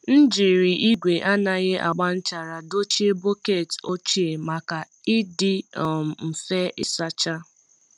M jiri igwe anaghị agba nchara dochie bọket ochie maka ịdị um mfe ịsacha.